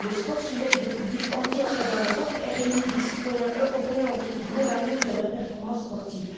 Le sport déplace des foules entières à travers l'Europe et réunit des citoyens européens autour du même amour de la performance sportive.